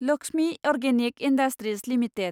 Lakshmi organic industries limited